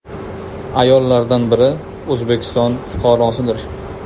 Ayollardan biri O‘zbekiston fuqarosidir.